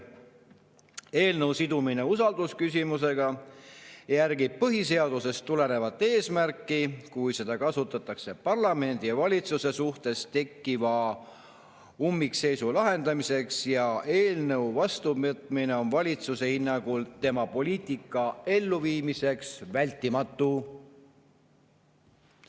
Eelnõu sidumine usaldusküsimusega järgib põhiseadusest tulenevat eesmärki, kui seda kasutatakse parlamendi ja valitsuse suhtes tekkiva ummikseisu lahendamiseks ja eelnõu vastuvõtmine on valitsuse hinnangul tema poliitika elluviimiseks vältimatu.